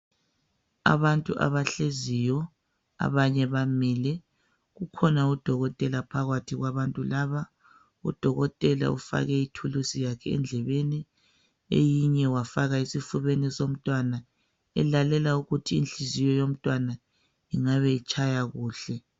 Abantu abahleziyo abanye bamile kukhona udokotela phakathi kwabantu laba udokotela ufake ithulusi yakhe endlebeni eyinye wafaka esifubeni somntwana elalela ukuthi inhliziyo yomntwana ingabe itshaya kuhle